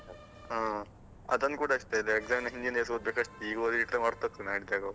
ಹ ಅದನ್ನ್ ಕೂಡ ಅಷ್ಟೆ, ಇದ್ exam ಹಿಂದಿನ ದಿವಸ ಓದ್ಬೇಕಷ್ಟೆ ಈಗ ಓದಿದ್ರೆ ಮರ್ತೊಗ್ತದೆ ನಾಳಿದ್ದಾಗುವಾಗ.